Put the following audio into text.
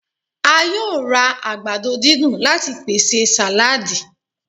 A yoo ra àgbàdo didun lati pese saladi